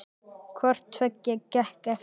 Hvort tveggja gekk eftir.